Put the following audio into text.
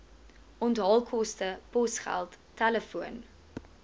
onthaalkoste posgeld telefoon